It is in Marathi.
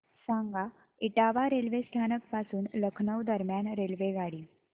सांगा इटावा रेल्वे स्थानक पासून लखनौ दरम्यान रेल्वेगाडी